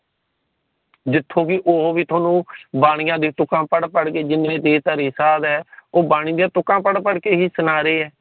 ਜਿੱਥੋਂ ਕਿ ਉਹ ਵੀ ਥੋਨੂੰ ਬਾਣੀਆਂ ਜੀ ਤੇ ਕਮ ਪੜ ਪੜ ਕੇ ਜਿਨ੍ਹੇ ਵੀ ਸਾਦ ਹੈ ਉਹ ਬਾਣੀ ਦੀ ਤੁਕਾਂ ਪੜ ਪੜ ਕੇ ਹੀ ਸੁਣਾ ਰਹੀਏ